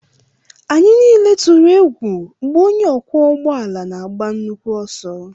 Anyị niile tụrụ egwu mgbe onye ọkwọ ụgbọala na-agba nnukwu ọsọ